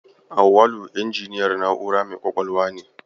Auwalu injiniyan na'ura mai ƙwaƙwalwa ne.